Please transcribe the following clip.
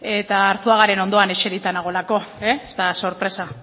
eta arzuagaren ondoan eserita nagoelako ez da sorpresa